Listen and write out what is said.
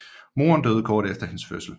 Moren døde kort efter hendes fødsel